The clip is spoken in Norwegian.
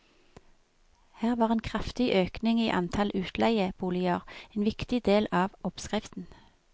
Her var en kraftig økning i antall utleieboliger en viktig del av oppskriften.